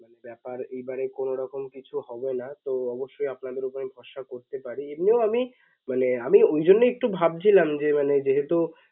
ব্যাপার এইবারে কোনোরকম কিছু হবেনা তো অবশ্যই আপনাদের ওখানে ভরসা করতে পারি এমনিও আমি মানে আমি ওই জন্যই একটু ভাবছিলাম যে মানে যেহেতু